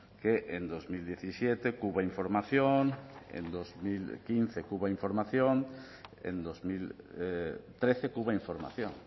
que en dos mil diecisiete cuba información en dos mil quince cuba información en dos mil trece cuba información